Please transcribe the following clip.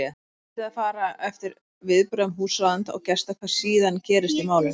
Svo mundi það fara eftir viðbrögðum húsráðenda og gesta hvað síðan gerist í málinu.